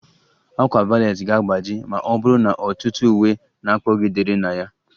A ákwà valet ga-agbaji ma ọ bụrụ na ọtụtụ uwe na-kpọgidere na ya